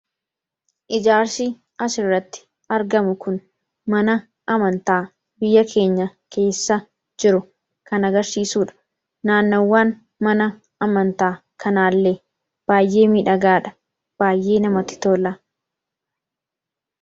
Ijaarsi asirratti argamu kun mana amantaa biyya keenya keessa jiru kan agarsiisudha. Naannawwaan mana amantaa kanaallee baay'ee miidhagaadha! Baay'ee namatti tola!